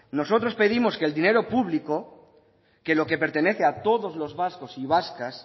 nosotros pedimos que el dinero público lo que pertenece a todos los vascos y vascas